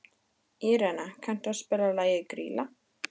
Írena, kanntu að spila lagið „Grýla“?